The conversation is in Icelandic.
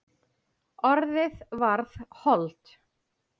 Orðið varð hold.